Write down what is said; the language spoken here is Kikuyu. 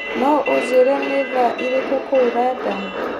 no ũnjĩĩre nĩ thaa irĩkũ kũũ London